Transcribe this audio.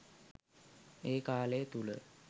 ඒ කාලය තුළ